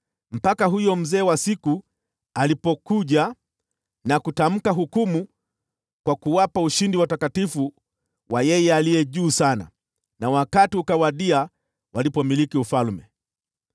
mpaka huyo Mzee wa Siku alipokuja na kutamka hukumu kwa kuwapa ushindi watakatifu wa Yeye Aliye Juu Sana, na wakati ukawadia walipoumiliki ufalme.